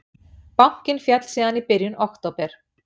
Bankinn féll síðan í byrjun október